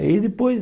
Aí depois...